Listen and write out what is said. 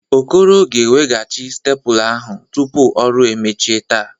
Okoro ga-eweghachi stepụla ahụ tupu ọrụ emechie taa.